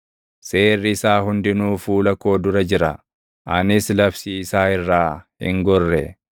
Seerri isaa hundinuu fuula koo dura jira; anis labsii isaa irraa hin gorre.